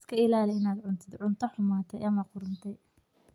Iska ilaali inaad cuntid cunto xumaaday ama qudhuntay.